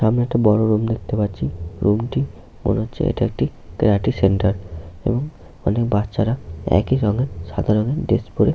সামনে একটা বড় রুম দেখতে পাচ্ছি। রুমটি মনে হচ্ছে এটি একটি ক্যারাটে সেন্টার এবং অনেক বাচ্চারা একই রংয়ের সাদা রংয়ের ড্রেস পরে।